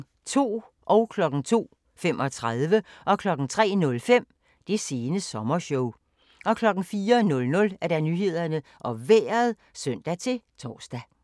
02:00: Det sene sommershow 02:35: Det sene sommershow 03:05: Det sene sommershow 04:00: Nyhederne og Vejret (søn-tor)